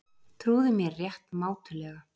Trúðu mér rétt mátulega.